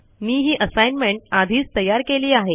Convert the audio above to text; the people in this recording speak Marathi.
मी ही असाईनमेंट आधीच तयार केली आहे